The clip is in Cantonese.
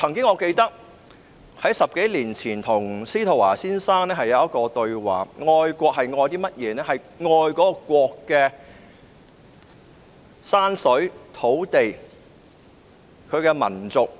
我記得在10多年前曾與司徒華先生對話，我們談到愛國其實愛的是甚麼。